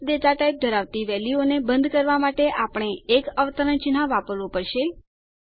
text data type ધરાવતી વેલ્યુઓ ને બંધ કરવા માટે આપણે એક અવતરણ ચિન્હ વાપરવું પડશે